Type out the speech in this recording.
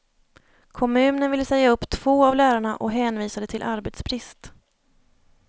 Kommunen ville säga upp två av lärarna och hänvisade till arbetsbrist.